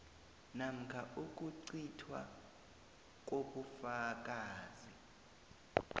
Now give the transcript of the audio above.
namkha ukucithwa kobufakazi